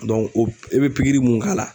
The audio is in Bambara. i bɛ pikiri mun k'a la